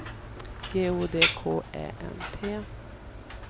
G O D K Ä N T